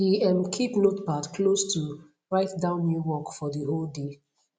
he um keep notepad close to write down new work for de whole dey